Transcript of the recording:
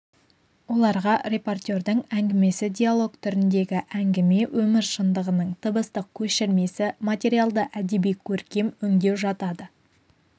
оларға репортердің әңгімесі диалог түріндегі әңгіме өмір шындығының дыбыстық көшірмесі материалды әдеби-көркем өңдеу жатады